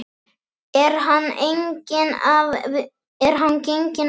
Er hann genginn af vitinu?